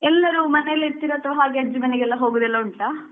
ಎಲ್ಲರೂ ಮನೆಯಲ್ಲಿ ಇರ್ತಿರಾ ಅಥವಾ ಹಾಗೆ ಅಜ್ಜಿ ಮನೆಗೆಲ್ಲಾ ಹೋಗುದೆಲ್ಲಾ ಉಂಟಾ?